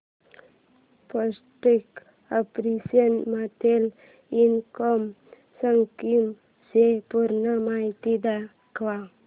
post office monthly income scheme ची पूर्ण माहिती दाखव